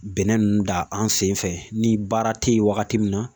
Bɛnɛ ninnu da an senfɛ ni baara tɛ yen wagati min na